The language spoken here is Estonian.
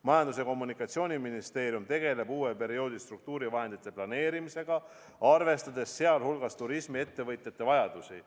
Majandus- ja Kommunikatsiooniministeerium tegeleb uue perioodi struktuurivahendite planeerimisega, arvestades sealjuures turismiettevõtjate vajadusi.